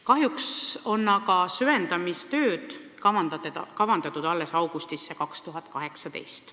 Kahjuks on aga süvendamistööd kavandatud alles augustisse 2018.